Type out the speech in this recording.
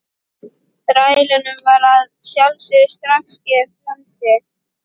Þrælunum var að sjálfsögðu strax gefið frelsi.